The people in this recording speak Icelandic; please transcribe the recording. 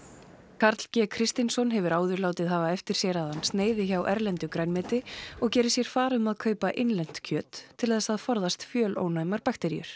Karl g Kristinsson hefur áður látið hafa eftir sér að hann sneiði hjá erlendu grænmeti og geri sér far um að kaupa innlent kjöt til þess að forðast fjölónæmar bakteríur